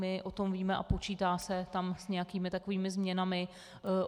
My o tom víme a počítá se tam s nějakými takovými změnami.